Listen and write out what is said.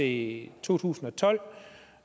i to tusind og tolv